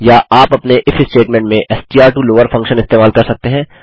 या आप अपने इफ स्टेटमेंट में एसटीआर टो लॉवर फंक्शन इस्तेमाल कर सकते हैं